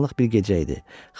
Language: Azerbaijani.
Qaranlıq bir gecə idi.